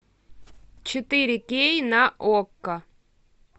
четыре кей на окко